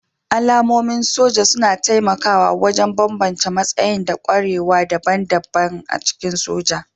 Alamomin soja suna taimakawa wajen bambance matsayi da ƙwarewa daban-daban a cikin soja